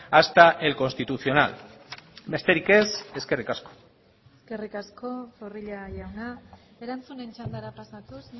hasta el constitucional besterik ez eskerrik asko eskerrik asko zorrilla jauna erantzunen txandara pasatuz